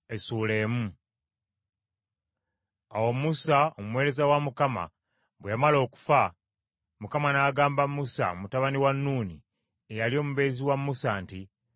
Awo Musa omuweereza wa Mukama bwe yamala okufa, Mukama n’agamba Yoswa mutabani wa Nuuni, eyali omubeezi wa Musa nti,